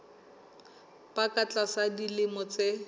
ba ka tlasa dilemo tse